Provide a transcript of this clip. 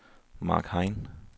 Marc Hein